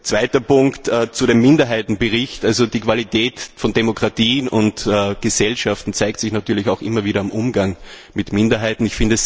Zweiter Punkt Minderheitenbericht Die Qualität von Demokratien und Gesellschaften zeigt sich natürlich immer wieder im Umgang mit Minderheiten.